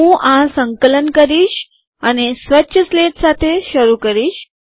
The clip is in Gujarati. હું આ સંકલન કરીશ અને સ્વચ્છ સ્લેટ સાથે શરૂ કરીશ